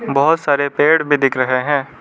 बहोत सारे पेड़ भी दिख रहे हैं।